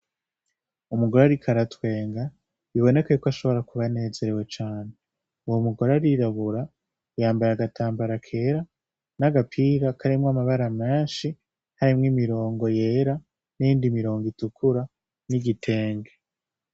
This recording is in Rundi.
Umugore arikoaratwenga biboneke yuko ashobora kubanezerewe cane uwo mugore arirabura yambaye agatambara kera n'agapira karemwo amabara amenshi harimwo imirongo yera n'indi mirongo itukura n'igitenge.